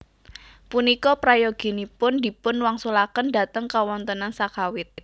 Punika prayoginpun dipun wangsulaken dhateng kawontenan sakawit